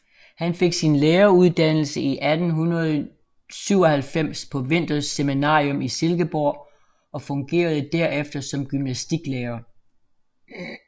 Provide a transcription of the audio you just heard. Han fik sin læreruddannelse i 1897 på Vinthers Seminarium i Silkeborg og fungerede derefter som gymnastiklærer